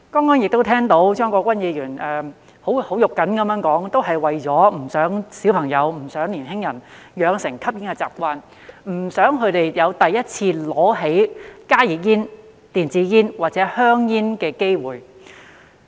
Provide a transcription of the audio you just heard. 我剛才聽到張國鈞議員很"肉緊"地說，這樣做也是不希望小朋友、年輕人養成吸煙的習慣，不想他們有第一次拿起加熱煙、電子煙或香煙的機會。